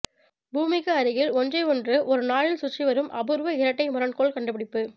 பூமிக்கு அருகில் ஒன்றை ஒன்று ஒருநாளில் சுற்றி வரும் அபூர்வ இரட்டை முரண்கோள் கண்டுபிடிப்பு